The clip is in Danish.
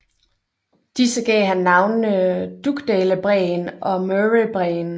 Disse gav han navnene Dugdalebræen og Murraybræen